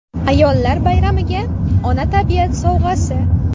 Ayollar bayramiga Ona tabiat sovg‘asi.